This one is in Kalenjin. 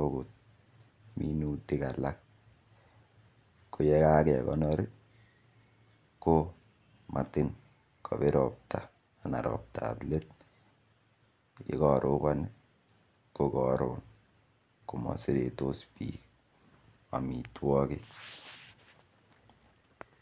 agot minutik ko ye kagekonor ko motin kobir ropta anan roptab let ye korobon komoseretos biik amitwogik.